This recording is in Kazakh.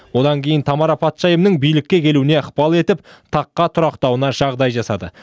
одан кейін тамара патшайымның билікке келуіне ықпал етіп таққа тұрақтауына жағдай жасады